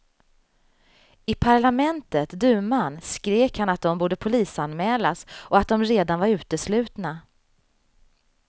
I parlamentet, duman, skrek han att de borde polisanmälas och att de redan var uteslutna.